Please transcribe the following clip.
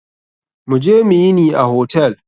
Mu je mu yini a hotel.